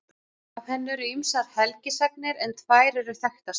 Af henni eru ýmsar helgisagnir en tvær eru þekktastar.